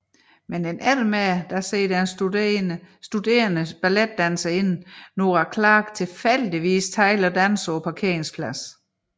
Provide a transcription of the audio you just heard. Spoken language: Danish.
Men en eftermiddag ser den studerende balletdanserinde Nora Clark tilfældigvis Tyler danse på parkeringspladsen